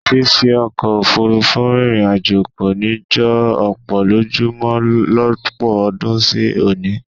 Fífi ọkọ̀ òfuurufú rìnrìn àjò kò ní jọ ọ̀pọ̀ lójú mọ lọ́pọ̀ ọdún sí òní